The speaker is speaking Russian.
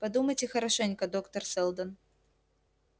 подумайте хорошенько доктор сэлдон